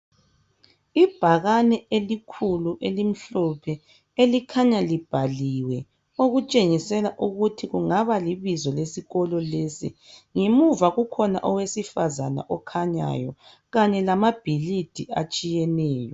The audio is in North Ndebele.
Ibhakani elikhulu elimhlophe elikhanya libhaliwe Okutshengisela ukuthi kungaba libizo lesikolo lesi ngemuva kukhona owesifazane okhanyayo Kanye lamaphilisi atshiyeneyo